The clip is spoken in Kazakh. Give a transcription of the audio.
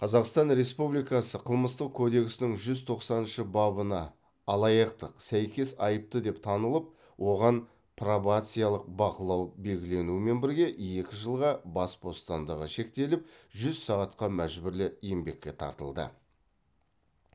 қазақстан республикасы қылмыстық кодексінің жүз тоқсаныншы бабына алаяқтық сәйкес айыпты деп танылып оған пробациялық бақылау белгіленумен бірге екі жылға бас бостандығы шектеліп жүз сағатқа мәжбүрлі еңбекке тартылды